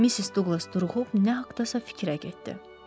Missis Duqlas duruxub nə haqqdasa fikrə getdi.